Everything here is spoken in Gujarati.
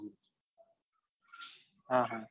હા હા